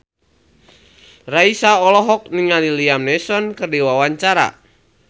Raisa olohok ningali Liam Neeson keur diwawancara